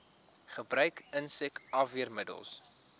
gebruik insek afweermiddels